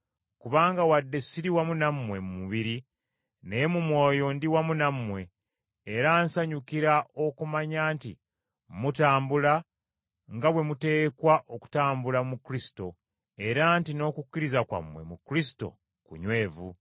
Kubanga wadde siri wamu nammwe mu mubiri, naye mu mwoyo ndi wamu nammwe, era nsanyuka okumanya nti mutambula nga bwe muteekwa okutambula mu Kristo era nti n’okukkiriza kwammwe mu Kristo kunywevu.